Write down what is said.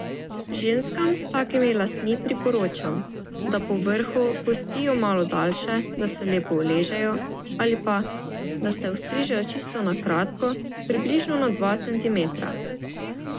Ženskam s takimi lasmi priporočam, da po vrhu pustijo malo daljše, da se lepo uležejo, ali pa, da se ostrižejo čisto na kratko, približno na dva centimetra.